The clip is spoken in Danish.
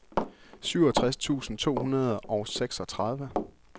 syvogtres tusind to hundrede og seksogtredive